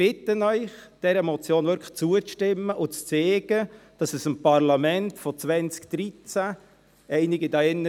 – Ich bitte Sie, dieser Motion wirklich zuzustimmen und zu zeigen, dass es dem Parlament von 2013 ernst ist, dem Vorschub zu leisten.